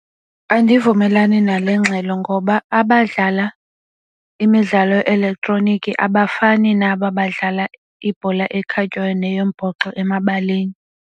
Andivumelani nale ngxelo ngoba abadlala imidlalo elektroniki abafani nabo badlala ibhola ekhatywayo neyombhoxo emabaleni.